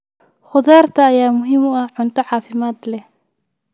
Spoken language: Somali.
Khudaarta ayaa muhiim u ah cunto caafimaad leh.